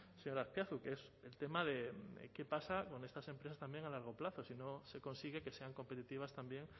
señor azpiazu que es el tema de qué pasa con estas empresas también a largo plazo si no se consigue que sean competitivas también